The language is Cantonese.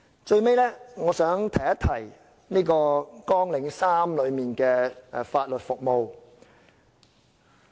最後，我想提一提綱領3法律服務。